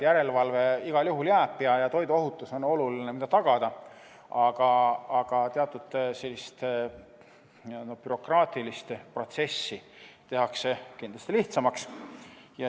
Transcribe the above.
Järelevalve igal juhul jääb ja oluline on tagada toiduohutus, aga teatud bürokraatilist protsessi tehakse kindlasti lihtsamaks.